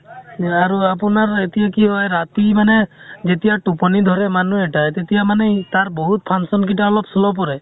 আৰু আপোনাৰ এতিয়া কি হয় ৰাতি মানে যেতিয়া টোপনি ধৰে মানুহ এটাই। তেতিয়া মানে তাৰ বহুত function কিটা অলপ slow পৰে।